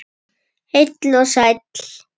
Heil og sæl!